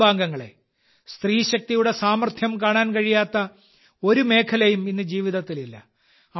എന്റെ കുടുംബാംഗങ്ങളേ സ്ത്രീശക്തിയുടെ സാമർത്ഥ്യം കാണാൻ കഴിയാത്ത ഒരു മേഖലയും ഇന്ന് ജീവിതത്തിലില്ല